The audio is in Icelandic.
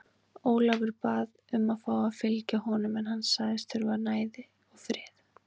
Ólafur bað um að fá að fylgja honum en hann sagðist þurfa næði og frið.